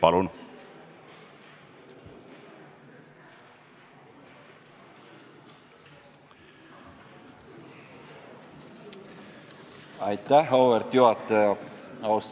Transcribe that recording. Auväärt juhataja!